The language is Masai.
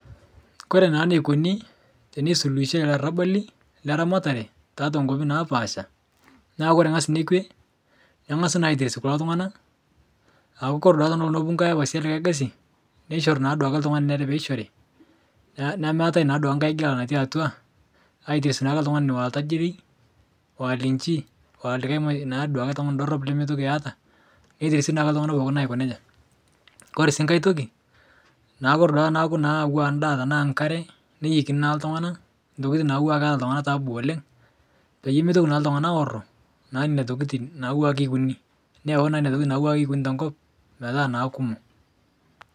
Kore naa neikoni tenesukuhishai larabali leramatare taatwa nkopi naapasha, naa kore ng'as nekwe, neng'asi naa aites kulo tung'ana aku kore duake tenelo nepuku nkae afasi elikae gasi neishori naa duake ltung'ani onere neishori, naa nemeatae naa duake nkae gela natii atwa, aites naake ltung'ani oatajiri, oalinchi, oa lik naa duake tung'ani dorop lemeitoki eata, netesi naake ltung'ana pooki aiko neja. Kore sii nkae toki naa kore duake teneaku naa auwa ndaa tanaa nkare, neyeikini naa ltung'ana tokitin nauwaa keata ltung'ana taabu oleng', peyie meitoki naa ltunga'na aoro naa nena tokitin nauwa keikuni, neyeuni naa neina tokitin nauwa kekuni te nkop metaa naa kekumok.